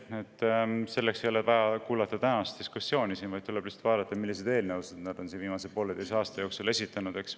Selle ei ole vaja kuulata tänast diskussiooni, vaid tuleb lihtsalt vaadata, milliseid eelnõusid nad viimase pooleteise aasta jooksul on esitanud.